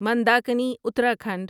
Mandakini Uttarakhand